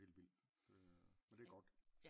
Det er helt vildt men det er godt